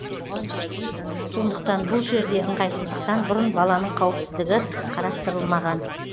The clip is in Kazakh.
сондықтан бұл жерде ыңғайсыздықтан бұрын баланың қауіпсіздігі қарастырылмаған